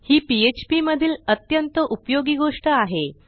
ही PHP मधील अत्यंत उपयोगी गोष्ट आहे